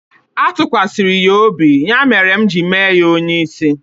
A tụkwasịrị ya obi, ya mere m ji mee ya onye isi